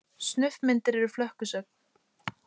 Snuff- myndir eru flökkusögn.